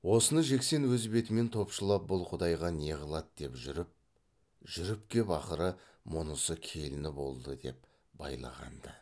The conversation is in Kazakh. осыны жексен өз бетімен топшылап бұл құдайға не қылады деп жүріп жүріп кеп ақыры мұнысы келіні болды деп байлаған ды